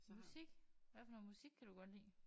Musik hvad for noget musik kan du godt lide?